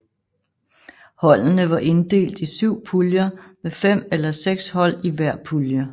Holdene var inddelt i syv puljer med fem eller seks hold i hver pulje